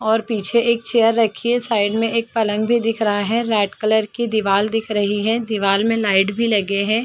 और पीछे एक चेयर रखी है साइड में एक पलंग भी दिख रहा है रेड कलर की दीवाल दिख रही है दीवाल में लाइट भी लगे हैं ।